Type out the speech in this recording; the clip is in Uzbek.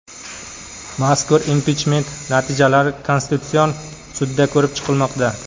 Mazkur impichment natijalari Konstitutsion sudda ko‘rib chiqilmoqda.